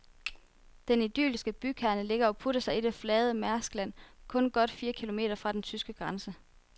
Den idylliske bykerne ligger og putter sig i det flade marskland kun godt fire kilometer fra den tyske grænse.